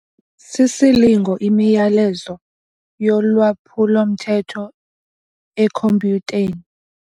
Sisilingo imiyalezo yolwaphulo-mthetho ekhompyutheni.